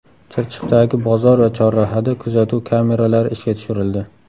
Chirchiqdagi bozor va chorrahada kuzatuv kameralari ishga tushirildi.